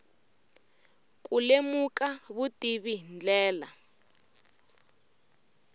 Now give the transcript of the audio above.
ku lemuka vutivi hi ndlela